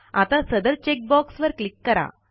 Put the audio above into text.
आता सदर चेकबॉक्स वर क्लिक करा